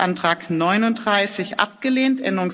Änderungsantrag 39 abgelehnt